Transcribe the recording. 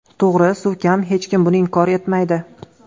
To‘g‘ri, suv kam, hech kim buni inkor etmaydi.